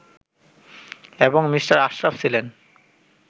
এবং মি. আশরাফ ছিলেন